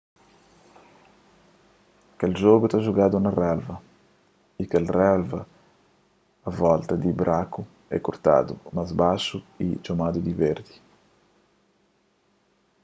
kel jogu ta jugadu na relva y kel relva a volta di braku é kortadu más baxu y txomadu di verdi